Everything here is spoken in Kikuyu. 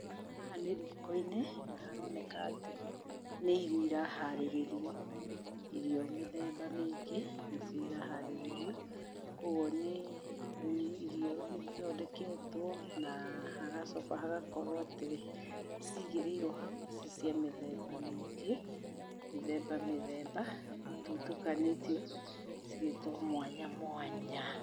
Haha nĩ riko-inĩ na haroneka atĩ nĩ irio iraharĩrĩrio, irio mĩthemba mĩingĩ nĩcio iraharĩrĩrio. Koguo nĩ irio ithondeketwo na hagacoka hagakorwo atĩ cigĩrĩirwo hau ci cia mĩthemba mĩingĩ, mĩthemba mĩthemba, ititukanĩtio, cigĩtwo mwanya mwanya.